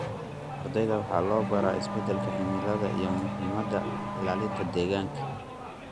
Ardayda waxaa loo baraa isbeddelka cimilada iyo muhiimadda ilaalinta deegaanka.